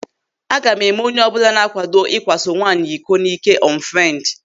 Aga m eme onyeọbụla na-akwado ikwaso nwaanyị iko n'ị́kè ọnfrendi.